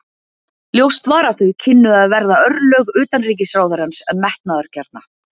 Ljóst var að þau kynnu að verða örlög utanríkisráðherrans metnaðargjarna.